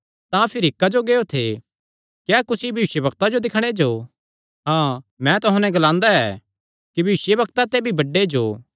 तां भिरी क्जो गियो थे क्या कुसी भविष्यवक्ता जो दिक्खणे जो हाँ मैं तुहां नैं ग्लांदा ऐ कि भविष्यवक्ता ते भी बड्डे जो